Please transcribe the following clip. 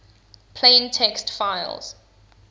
plain text files